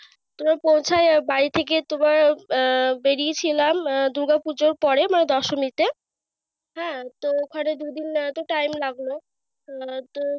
তোমার পৌঁছায় বাড়ি থেকে তোমার আহ বেরিয়েছিল আহ দূর্গা পূজার পরে বা দশমিতে। হ্যাঁ তো ওখানে দুই দিন এত time লাগল। আহ তো